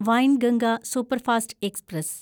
Wainganga superfast express